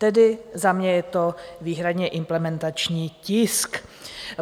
Tedy za mě je to výhradně implementační tisk.